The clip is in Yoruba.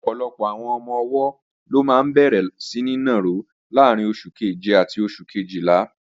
Ọ̀pọ̀lọpọ̀ àwọn ọmọ-ọwọ́ ló máa bẹ̀rẹ̀ síní nàró láàrín oṣù keje àti oṣù kejìlá